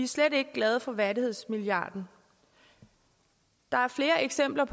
slet ikke glade for værdighedsmilliarden der er flere eksempler